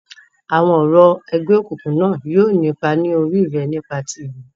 Awọn orȯ ẹgbẹokunkun na yóò ni ipa lori re nipa ti ẹmi.